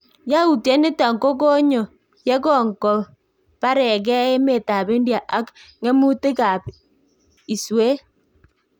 Yautiet nito kokonyo ye kongo baregeh emet ab India ak ng'emutik ab iswet